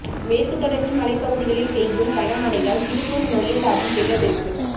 மேற்கு தொடர்ச்சி மலைப்பகுதிகளில் பெய்யும் கனமழையால் திருப்பூர் நொய்யல் ஆற்றில் வெள்ளப்பெருக்கு